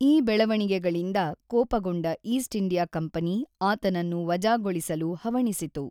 ಈ ಬೆಳವಣಿಗೆಗಳಿಂದ ಕೋಪಗೊಂಡ ಈಸ್ಟ್ ಇಂಡಿಯಾ ಕಂಪನಿ ಆತನನ್ನು ವಜಾಗೊಳಿಸಲು ಹವಣಿಸಿತು.